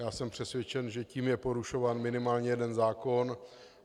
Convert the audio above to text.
Já jsem přesvědčen, že tím je porušován minimálně jeden zákon.